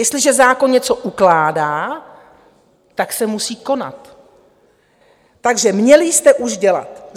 Jestliže zákon něco ukládá, tak se musí konat, takže měli jste už dělat.